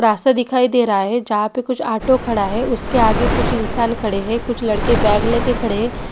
रास्ता दिखाई दे रहा है। जहा पे कुछ आटो खड़ा है। उसके आगे कुछ इंसान खड़े है। कुछ लड़के बॅग लेके खड़े है।